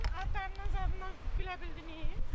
Atam, atamla danışdığınızı bilmirdinmi?